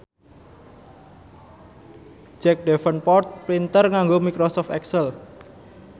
Jack Davenport pinter nganggo microsoft excel